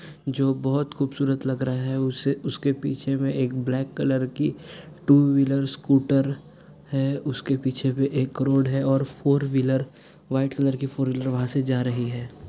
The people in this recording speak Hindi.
जो बहुत खूबसूरत लग रहे है उस के उस के पीछे मे एक ब्लेक कलर की टू व्हीलर स्कूटर है उस के पीछे भी एक रोड है और फॉर व्हीलर वाईट कलर की फॉर व्हीलर जा रही हैं।